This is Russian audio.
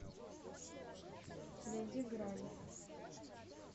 найди грань